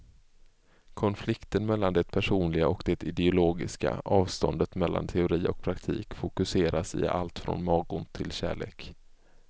Konflikten mellan det personliga och det ideologiska, avståndet mellan teori och praktik fokuseras i allt från magont till kärlek.